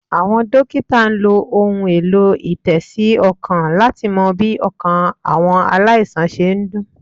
Àwọn Dókítà n lo ohun èlò- ìtésí -ọkàn láti mo bí ọkàn àwọn aláìsàn se n dún